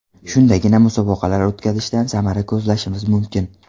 Shundagina musobaqalar o‘tkazishdan samara ko‘zlashimiz mumkin.